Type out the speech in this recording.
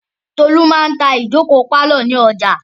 Tolú máa ń ta ìjókòó pálọ̀ ní ọjà.